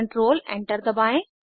control enter दबाएं